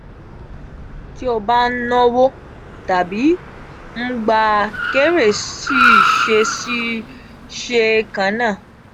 ti o ba n nawo tabi n gba kere si ṣe si ṣe kanna?